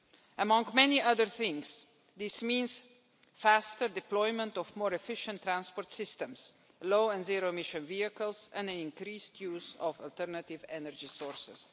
Among many other things, this means faster deployment of more efficient transport systems, low— and zero-emission vehicles and increased use of alternative energy sources.